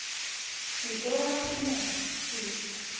se ke wa tshwenyega ke